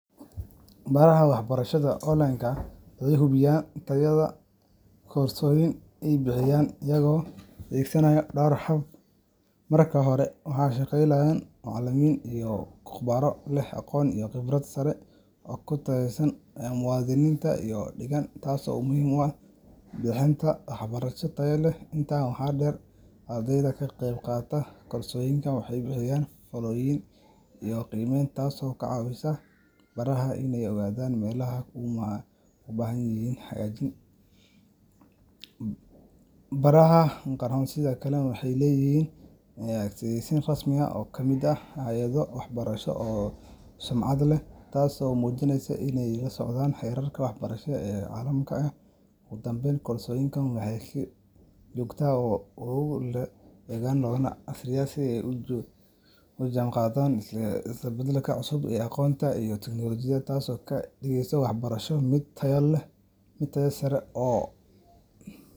Baraha wax barashada wuxuu hubiya tayada, narka hore waxaa shaqeyya macalimin wanagsan, bixinta wax barasho fican, baraha waxeey leeyihiin xayeeysiyaan casri ah, ogu danbeyn waxeey looga aqriya sidaay ola jaan qaadan is badalka cusub.